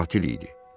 O qatil idi.